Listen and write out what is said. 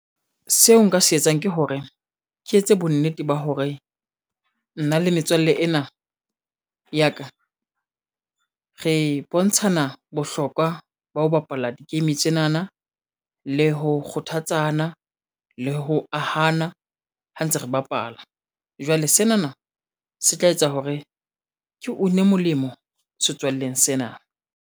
Seo nka se etsang ke hore ke etse bonnete ba hore nna le metswalle ena ya ka re bontshana bohlokwa ba ho bapala di-game tsenana le ho kgothatsa le ho ahana ha ntse re bapala. Jwale, senana se tla etsa hore ke une molemo setswalleng sena.